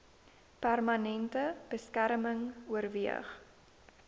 permanente beskerming oorweeg